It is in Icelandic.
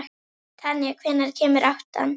Tanja, hvenær kemur áttan?